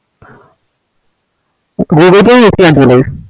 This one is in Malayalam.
google pay